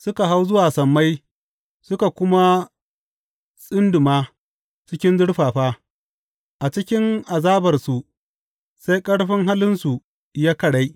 Suka hau zuwa sammai suka kuma tsinduma cikin zurfafa; a cikin azabarsu sai ƙarfin halinsu ya karai.